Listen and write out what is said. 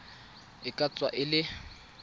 e ka tswa e le